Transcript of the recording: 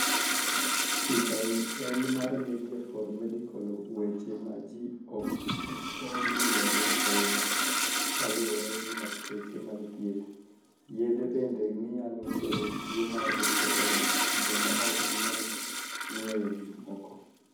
Picha eni mar Media for Medical Weche ma ji ok onig'eyo ahiniya Kaluwore gi lakteche mag thieth, yedhe benide niyalo kelo tuo mar depressioni joma ok niyal nig'weyo gik moko.